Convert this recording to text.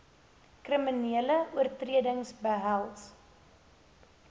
kriminele oortreding behels